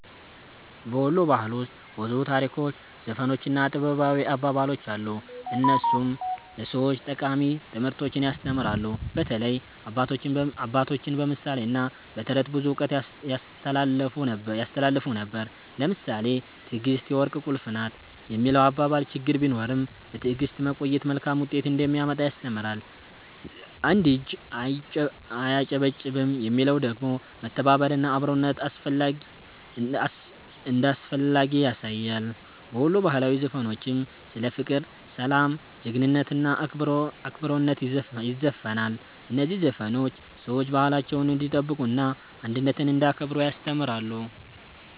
በ ወሎ ባህል ውስጥ ብዙ ታሪኮች፣ ዘፈኖች እና ጥበባዊ አባባሎች አሉ፣ እነሱም ለሰዎች ጠቃሚ ትምህርቶችን ያስተምራሉ። በተለይ አባቶቻችን በምሳሌ እና በተረት ብዙ እውቀት ያስተላልፉ ነበር። ለምሳሌ “ትዕግስት የወርቅ ቁልፍ ናት” የሚለው አባባል ችግር ቢኖርም በትዕግስት መቆየት መልካም ውጤት እንደሚያመጣ ያስተምራል። “አንድ እጅ አያጨበጭብም” የሚለው ደግሞ መተባበር እና አብሮነት እንዳስፈላጊ ያሳያል። በወሎ ባህላዊ ዘፈኖችም ስለ ፍቅር፣ ሰላም፣ ጀግንነት እና አክብሮት ይዘፈናል። እነዚህ ዘፈኖች ሰዎች ባህላቸውን እንዲጠብቁ እና አንድነትን እንዲያከብሩ ያስተምራሉ።